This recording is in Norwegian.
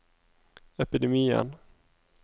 epidemien